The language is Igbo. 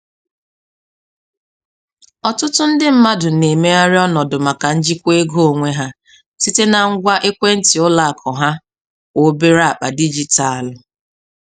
Ọtụtụ ndị mmadụ na-emegharị ọnọdụ maka njikwa ego onwe ha site na ngwa ekwentị ụlọ akụ na kwa obere akpa dijitalụ.